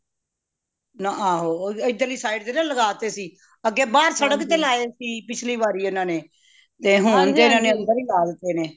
ਨਾ ਆਹੋ ਇਦਰਲੀ side ਨਾ ਲੱਗਾ ਤੇ ਸੀ ਅੱਗੇ ਬਾਹਰ ਸੜਕ ਤੇ ਲਗਾਏ ਸੀ ਪਿਛਲੀ ਵਾਰੀ ਇਹਨਾਂ ਨੇ ਤੇ ਹੁਣ ਫੇਰ ਅੰਦਰ ਹੀ ਲਾਤੇ ਨੇ